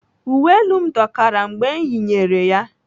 Uwe elu m dọkara mgbe m yinyere ya.